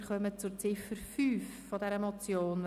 Wir kommen zur Ziffer 5 dieser Motion.